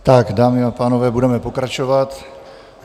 Tak dámy a pánové, budeme pokračovat.